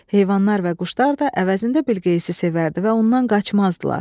Heyvanlar və quşlar da əvəzində Bilqeyisi sevərdi və ondan qaçmazdılar.